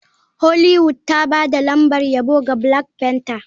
Hollywood ta ba da lambar yabo ga black panther.